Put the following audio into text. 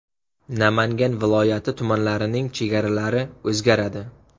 Namangan viloyati tumanlarining chegaralari o‘zgaradi.